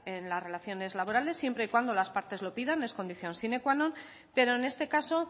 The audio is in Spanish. en las relaciones laborales siempre y cuando las partes lo pidan es condición sine qua non pero en este caso